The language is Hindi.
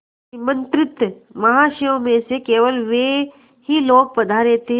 निमंत्रित महाशयों में से केवल वे ही लोग पधारे थे